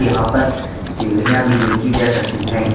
यहां पर सीढ़ियां भी देखी जा सकती हैं।